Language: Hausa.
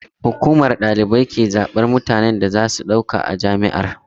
Hukumar ɗaukar ɗalibai ke zaɓar mutanen da za su ɗauka a jami'ar.